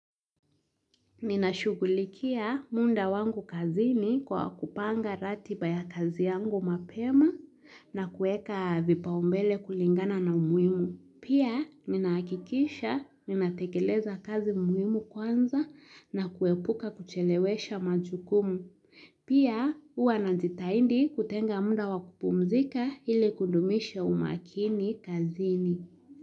Ninashugulikia muda wangu kazini kwa kupanga ratiba ya kazi yangu mapema na kuweka vipaumbele kulingana na umuimu. Pia, ninahakikisha ninatekeleza kazi muhimu kwanza na kuepuka kuchelewesha majukumu. Pia, huwa najitahidi kutenga muda wa kupumzika ili kudumisha umakini kazini.